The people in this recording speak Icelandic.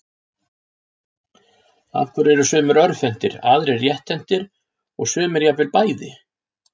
Af hverju eru sumir örvhentir, aðrir rétthentir og sumir jafnvel bæði?